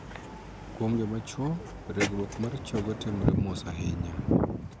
Kuom joma chuo, regruok mar chogo timore mos ahinya.